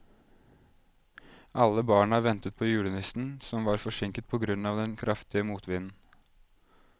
Alle barna ventet på julenissen, som var forsinket på grunn av den kraftige motvinden.